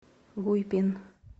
гуйпин